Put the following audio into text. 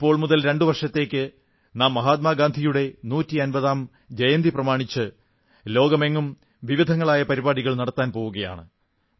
ഇപ്പോൾ മുതൽ രണ്ടു വർഷത്തേക്ക് നാം മഹാത്മാ ഗാന്ധിയുടെ നൂറ്റി അൻപതാം ജയന്തി പ്രമാണിച്ച് ലോകമെങ്ങും വിവിധങ്ങളായ പരിപാടികൾ നടത്താൻ പോകയാണ്